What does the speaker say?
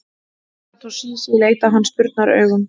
Herra Toshizi leit á hann spurnaraugum.